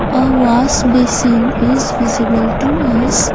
A wash basin is visible to us.